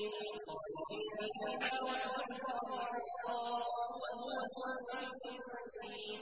خَالِدِينَ فِيهَا ۖ وَعْدَ اللَّهِ حَقًّا ۚ وَهُوَ الْعَزِيزُ الْحَكِيمُ